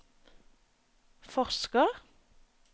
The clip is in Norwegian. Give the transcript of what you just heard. forsker